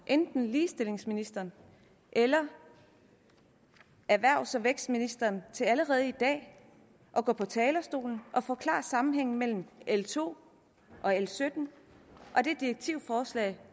enten ligestillingsministeren eller erhvervs og vækstministeren til allerede i dag at gå på talerstolen og forklare sammenhængen mellem l to og l sytten og det direktivforslag